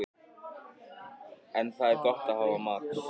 En það er gott að hafa Max.